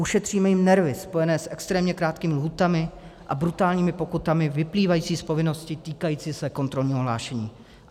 Ušetříme jim nervy spojené s extrémně krátkými lhůtami a brutálními pokutami vyplývající z povinnosti týkající se kontrolního hlášení.